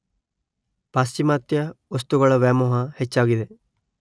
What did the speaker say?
ಪಾಶ್ಚಿಮಾತ್ಯ ವಸ್ತುಗಳ ವ್ಯಾಮೋಹ ಹೆಚ್ಚಾಗಿದೆ.